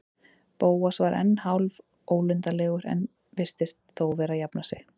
Bóas var ennþá hálfólundarlegur en virtist þó vera að jafna sig.